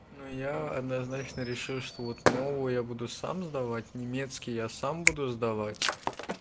но я однозначно решил что вот мол я буду сам сдавать немецкий я сам буду сдавать